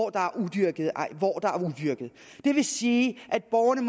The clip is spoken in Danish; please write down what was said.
er udyrket det vil sige at borgerne